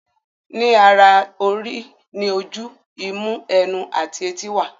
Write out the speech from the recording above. Ní ara orí ní oju, imú, ẹnu, àti etí wà.